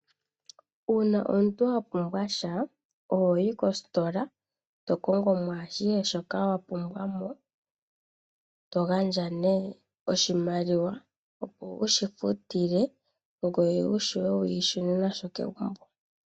Uuna omuntu wa pumbwa sha ohoyi kositola . Etokongo mo ashihe shoka wa pumbwa mo eto gandja nee oshimaliwa wushi futile ngoye vule wushune nasho.